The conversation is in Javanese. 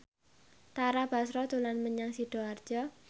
Tara Basro dolan menyang Sidoarjo